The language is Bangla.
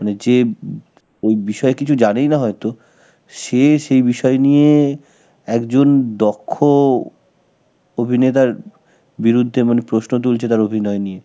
মানে যে ও~ বিষয়ে কিছু জানেই না হয়তো, সে এসে সেই বিষয় নিয়ে একজন দক্ষ অভিনেতার বিরুদ্ধে মানে প্রশ্ন তুলছে তার অভিনয় নিয়ে